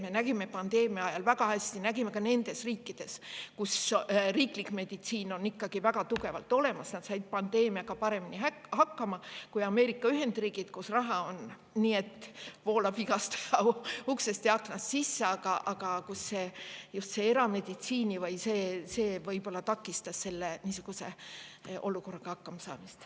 Me nägime pandeemia ajal väga hästi, et riikides, kus riiklik meditsiin on väga tugev, saadi pandeemiaga paremini hakkama kui Ameerika Ühendriikides, kus raha voolab igast uksest ja aknast sisse, aga kus just erameditsiin võib-olla takistas niisuguse olukorraga hakkama saamist.